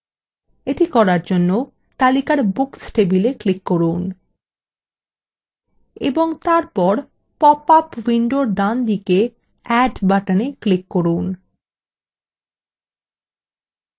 এটি করার জন্য তালিকার books table ক্লিক করুন এবং তারপর পপআপ window ডানদিকে add button ক্লিক করুন